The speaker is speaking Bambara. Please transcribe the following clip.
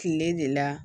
Kile de la